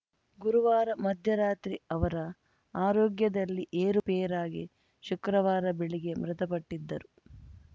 ಗುರುವಾರ ಮಧ್ಯರಾತ್ರಿ ಅವರ ಆರೋಗ್ಯದಲ್ಲಿ ಏರುಪೇರಾಗಿ ಶುಕ್ರವಾರ ಬೆಳಿಗ್ಗೆ ಮೃತಪಟ್ಟಿದ್ದರು